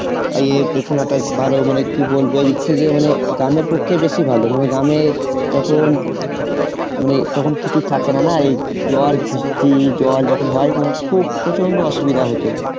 ভালো মানে কি বলবো এইদিক থেকে মানে গ্রামের পক্ষে বেশি ভালো মানে গ্রামে যখন মানে তখন কিছু থাকে না, না এই ঝড় বৃষ্টি জল যখন হয় মানে খুব প্রচন্ড অসুবিধা হতো